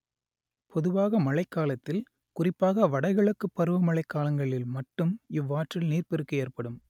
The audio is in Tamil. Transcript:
பொதுவாக மழைக்காலத்தில் குறிப்பாக வடகிழக்குப் பருவமழைக் காலங்களில் மட்டும் இவ்வாற்றில் நீர்ப்பெருக்கு ஏற்படும்